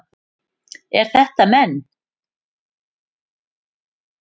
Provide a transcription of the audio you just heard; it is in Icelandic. Eru þetta menn?